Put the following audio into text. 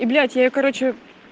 и блять я её короче